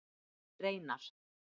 Reynar